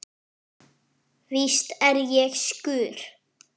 Víst er ég sekur.